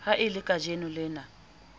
ha e le kajeno lena